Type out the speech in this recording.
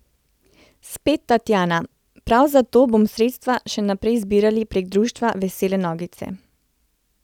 Spet Tatjana: 'Prav zato bomo sredstva še naprej zbirali prek društva Vesele nogice.